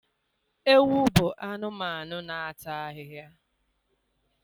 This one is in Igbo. Ewu bụ anụmanụ na-ata ahịhịa.